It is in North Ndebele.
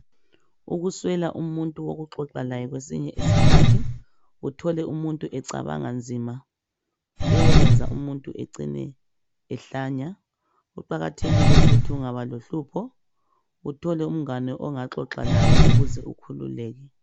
Ukuswela umuntu okuxoxalaye kwesinye isikhathi uthole umuntu ecabanga nzima kuyayenza umuntu ecine ehlanya kuqakathekile ukuthi ungaba lohlupho uthole umngani ongaxoxa laye ukuze ukhululeke